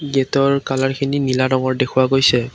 গেটৰ কালাৰখিনি নীলা ৰঙৰ দেখুওৱা গৈছে।